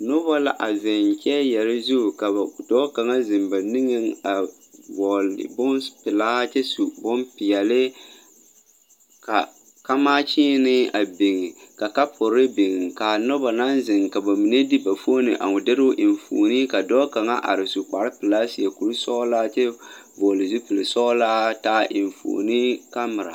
Nobɔ la a zeŋ kyɛɛyɛre zu ka ba zure dɔɔ kaŋa zeŋ ba niŋeŋ a vɔɔle bonpelaa kyɛ su bonpeɛle ka kamaa kyiinee a biŋ ka kapure biŋ kaa nobɔ naŋ zeŋ ka ba mine de ba foone a dirɛ enfuone ka dɔɔ kaŋa are su kparepelaa seɛ kurisɔglaa kyɛ vɔɔle zupilsɔglaa taa enfuone kamira.